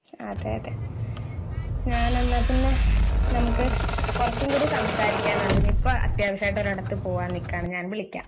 അതെയതെ ഞാൻ എന്നാൽ പിന്നെ നമുക്ക് കുറച്ചു കൂടി സംസാരിക്കാനുണ്ട് ഇപ്പൊ അത്യാവശ്യയിട്ടു ഒരിടത്തു പോകാൻ നിക്കയാണ് ഞാൻ വിളിക്കാം